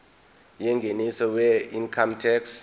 yengeniso weincome tax